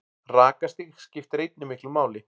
Rakastig skiptir einnig miklu máli.